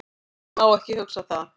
Ég má ekki hugsa það.